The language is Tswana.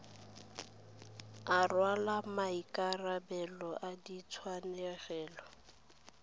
a rwala maikarabelo a ditshenyegelo